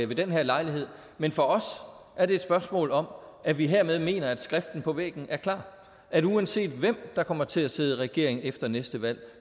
ved den her lejlighed men for os er det et spørgsmål om at vi hermed mener at skriften på væggen er klar at uanset hvem der kommer til at sidde i regering efter næste valg